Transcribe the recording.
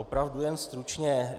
Opravdu jen stručně.